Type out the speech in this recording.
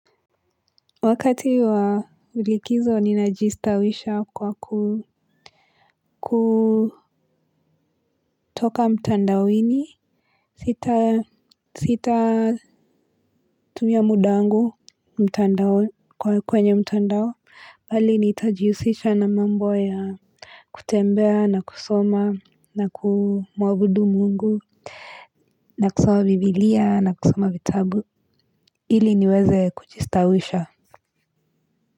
Wakati wa likizo ni najistawisha kwa ku kutoka mtandaoni sita sita tumia mudawangu mtandao kwenye mtandao hali nitajiusisha na mambo ya kutembea na kusoma na kumuabudu mungu na kusoma bibilia na kusoma vitabu hili niweze kujistawisha Muzika.